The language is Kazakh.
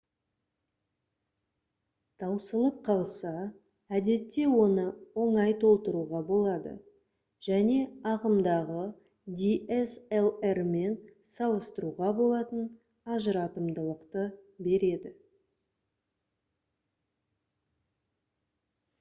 таусылып қалса әдетте оны оңай толтыруға болады және ағымдағы dslr-мен салыстыруға болатын ажыратымдылықты береді